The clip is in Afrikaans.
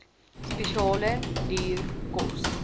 spesiale duur kos